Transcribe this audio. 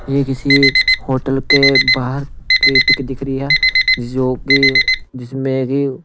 ये किसी होटल के बाहर की पिक दिख रही है जो कि जिसमें कि--